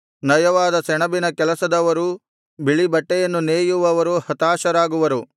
ನಯವಾದ ಸೆಣಬಿನ ಕೆಲಸದವರೂ ಬಿಳಿ ಬಟ್ಟೆಯನ್ನು ನೇಯುವವರೂ ಹತಾಶರಾಗುವರು